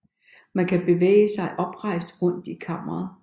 Man kan bevæge sig oprejst rundt i kammeret